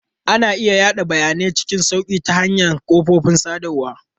Ana iya yada bayanai cikin sauƙi ta hanyar kafofin sadarwa.